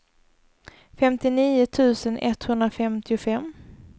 femtionio tusen etthundrafemtiofem